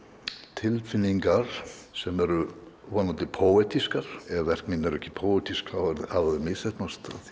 tilfinningar sem eru vonandi poetískar ef verk mín eru ekki póetísk hafa þau misheppnast